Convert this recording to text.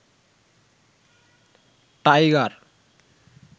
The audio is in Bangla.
টাইগার